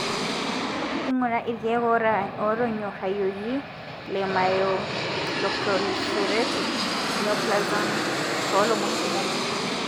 ingura ilkeek otonyorayioki le Myeloproliferative Neoplasms to lomon kumok.